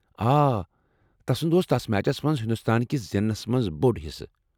آ، تسٖنٛد اوس تتھ میچس منٛز ہندوستان کس زیننٛس منٛز بوٚڑ حصہٕ۔